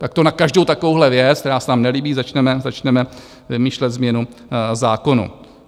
Tak to na každou takovouhle věc, která se nám nelíbí, začneme vymýšlet změnu zákonů.